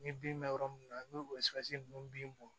Ni bin bɛ yɔrɔ min na n'o sigarɛn bɔn